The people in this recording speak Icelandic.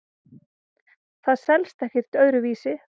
Það selst ekkert öðru vísi.